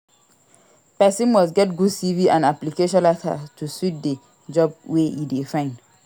Persin must get good CV and application letter to suit the job wey e de find